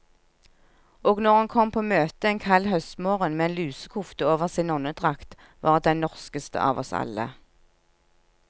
Og når hun kom på møte en kald høstmorgen med en lusekofte over sin nonnedrakt, var hun den norskeste av oss alle.